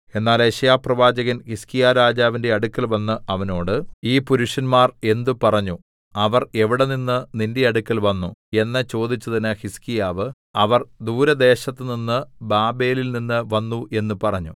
എന്നാൽ യെശയ്യാപ്രവാചകൻ ഹിസ്കീയാരാജാവിന്റെ അടുക്കൽവന്ന് അവനോട് ഈ പുരുഷന്മാർ എന്ത് പറഞ്ഞു അവർ എവിടെനിന്ന് നിന്റെ അടുക്കൽ വന്നു എന്ന് ചോദിച്ചതിന് ഹിസ്കീയാവ് അവർ ദൂരദേശത്തുനിന്ന് ബാബേലിൽനിന്ന് വന്നു എന്ന് പറഞ്ഞു